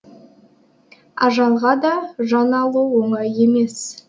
ажалға да жан алу оңай емес